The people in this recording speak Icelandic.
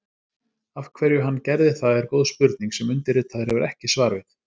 Af hverju hann gerði það er góð spurning sem undirritaður hefur ekki svar við.